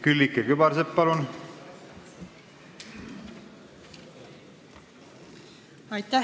Külliki Kübarsepp, palun!